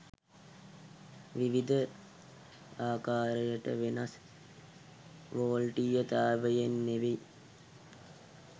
විවිධ අකාරයට වෙනස් වොල්ටීයතාවයන් නෙවෙයි